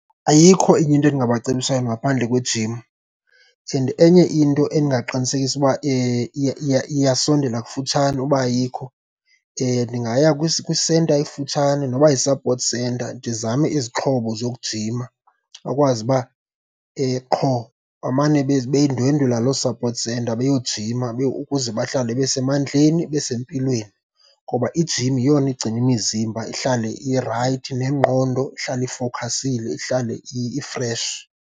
Ayikho enye into endingabacebisa yona ngaphandle kwejim. Enye into endingaqinisekisa uba iyasondela kufutshane uba ayikho, ndingaya kwisenta ekufutshane noba yi-support center ndizame izixhobo zokujima. Bakwazi uba qho bamane bendwendwela loo support center beyojima ukuze bahlale besemandleni besempilweni. Ngoba ijim yeyona igcina imizimbha ihlale irayithi nengqondo ihlale ifokhasile, ihlale ifreshi.